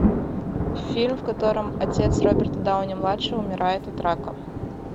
фильм в котором отец роберта дауни младшего умирает от рака